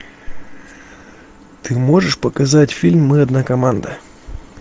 ты можешь показать фильм мы одна команда